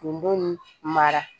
Kunbɛnni mara